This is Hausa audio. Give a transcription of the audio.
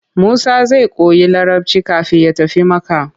Musa zai koyi Larabci kafin ya tafi Makka.